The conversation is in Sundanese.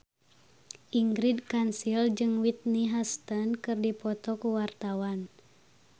Ingrid Kansil jeung Whitney Houston keur dipoto ku wartawan